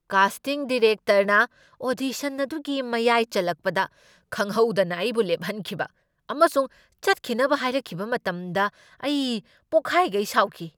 Casting ꯗꯤꯔꯦꯛꯇꯔꯅ audition ꯑꯗꯨꯒꯤ ꯃꯌꯥꯏ ꯆꯜꯂꯛꯄꯗ ꯈꯪꯍꯧꯗꯅ ꯑꯩꯕꯨ ꯂꯦꯞꯍꯟꯈꯤꯕ ꯑꯃꯁꯨꯡ ꯆꯠꯈꯤꯅꯕ ꯍꯥꯏꯔꯛꯈꯤꯕ ꯃꯇꯝꯗ ꯑꯩ ꯄꯣꯛꯈꯥꯏꯒꯩ ꯁꯥꯎꯈꯤ꯫